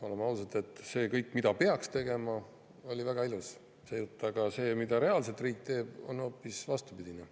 Oleme ausad, see jutt kõigest, mida peaks tegema, oli väga ilus, aga see, mida reaalselt riik teeb, on hoopis vastupidine.